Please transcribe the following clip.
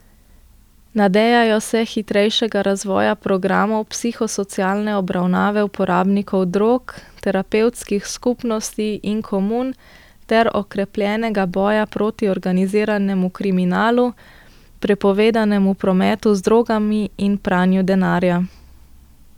Nadejajo se hitrejšega razvoja programov psihosocialne obravnave uporabnikov drog, terapevtskih skupnosti in komun ter okrepljenega boja proti organiziranemu kriminalu, prepovedanemu prometu z drogami in pranju denarja.